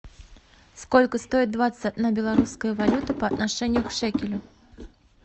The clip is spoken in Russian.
сколько стоит двадцать одна белорусская валюта по отношению к шекелю